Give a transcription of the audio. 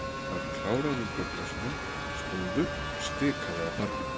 Hann kláraði úr bjórglasinu, stóð upp og stikaði að barnum.